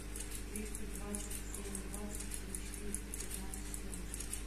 триста двадцать семь двадцать три четыреста пятнадцать четырнадцать